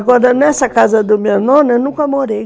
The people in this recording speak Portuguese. Agora, nessa casa do meu nono, eu nunca morei.